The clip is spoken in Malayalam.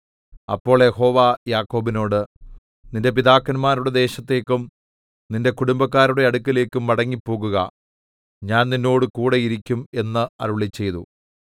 അപ്പോൾ യഹോവ യാക്കോബിനോട് നിന്റെ പിതാക്കന്മാരുടെ ദേശത്തേക്കും നിന്റെ കുടുംബക്കാരുടെ അടുക്കലേക്കും മടങ്ങിപ്പോകുക ഞാൻ നിന്നോടുകൂടെ ഇരിക്കും എന്ന് അരുളിച്ചെയ്തു